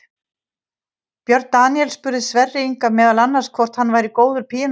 Björn Daníel spurði Sverri Inga meðal annars hvort hann væri góður píanóleikari.